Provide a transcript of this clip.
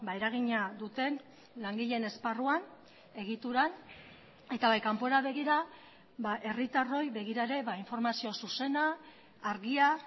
eragina duten langileen esparruan egituran eta bai kanpora begira herritarroi begira ere informazio zuzena argia